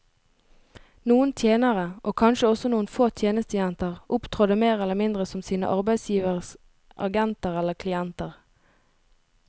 Noen tjenere, og kanskje også noen få tjenestejenter, opptrådte mer eller mindre som sine arbeidsgiveres agenter eller klienter.